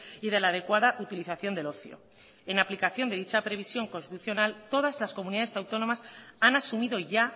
y de la adecuada utilización del ocio en aplicación de dicha previsión constitucional todas las comunidades autónomas han asumido ya